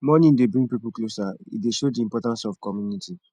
mourning dey bring pipo closer e dey show the importance of community